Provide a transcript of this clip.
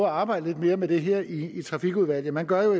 at arbejde lidt mere med det her i trafikudvalget man gør